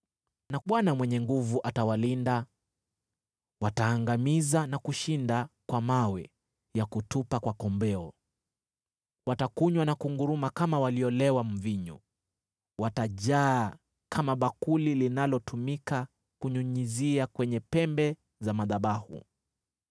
na Bwana Mwenye Nguvu Zote atawalinda. Wataangamiza na kushinda kwa mawe ya kutupa kwa kombeo. Watakunywa na kunguruma kama waliolewa mvinyo; watajaa kama bakuli linalotumika kunyunyizia kwenye pembe za madhabahu.